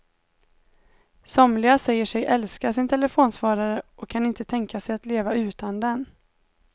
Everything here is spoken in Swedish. Somliga säger sig älska sin telefonsvarare och kan inte tänka sig att leva utan den.